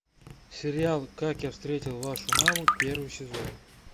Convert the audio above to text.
сериал как я встретил вашу маму первый сезон